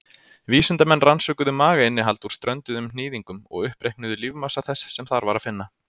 Vísindamenn rannsökuðu magainnihald úr strönduðum hnýðingum og uppreiknuðu lífmassa þess sem þar var að finna.